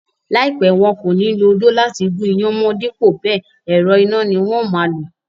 Láìpẹ́, wọn kò ní lo odó láti gún iyán mọ́n dípò bẹẹ̀, ẹ̀rọ iná ni wón máa lò.